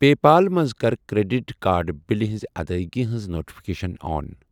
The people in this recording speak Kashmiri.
پے پال منٛز کَر کرٛیٚڈِٹ کارڈ بِلہِ ہٕنز ادٲیگی ہٕنٛز نوٹفکیشن آن۔